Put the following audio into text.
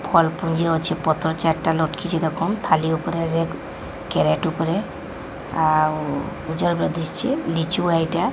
ଫଲ୍ ପୁଞ୍ଜେ ଅଛେ ପତ୍ର ଚାରିଟା ଲଟକିଛି ଦେଖୁନ୍ ଥାଲି ଉପରେ ରେକ୍ କେରାଟେ ଉପରେ ଆଉ ଉଜଲ ଦିଶୁଛି ଲିଚୁ ଏଇଟା --